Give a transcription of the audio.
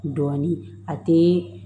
Dɔɔnin a tɛ